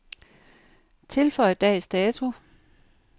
Tilføj dags dato.